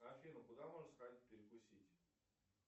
афина куда можно сходить перекусить